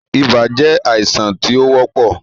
Ibà je àìsàn tí ó wọ́pọ̀